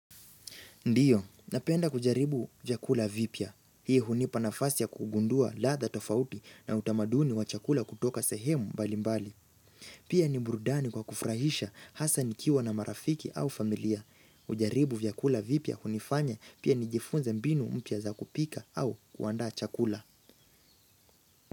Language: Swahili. Ndio, napenda kujaribu vyakula vipya. Hii hunipa nafasi ya kugundua laadha tofauti na utamaduni wa chakula kutoka sehemu mbali mbali. Pia ni burudani kwa kufurahisha hasa nikiwa na marafiki au familia. Hujaribu vyakula vipya hunifanya pia nijifunza mbinu mpya za kupika au kuandaa chakula.